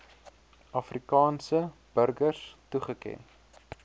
afrikaanse burgers toegeken